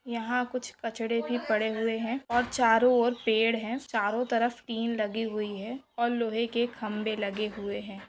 यहां कुछ कचरा भी पड़े हुए हैं और चारों और पेड़ है चारों तरफ तीन लगी हुई है और लोहे के खंभे लगे हुए हैं।